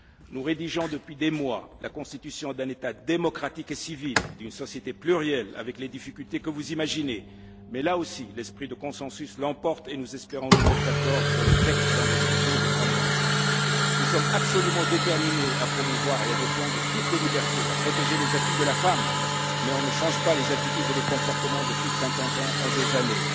Nous rédigeons depuis des mois la constitution d'un État démocratique et civil, d'une société plurielle, avec les difficultés que vous imaginez, mais, là aussi, l'esprit du consensus l'emporte, et nous espérons nous mettre d'accord sur le texte dans les deux ou trois mois. Nous sommes absolument déterminés à promouvoir et à défendre toutes les libertés, à protéger les acquis de la femme, mais on ne change pas les attitudes et les comportements de plus de cinquante ans en deux années.